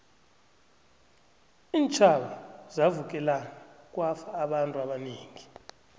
iintjhaba zavukelana kwafa abantu abanengi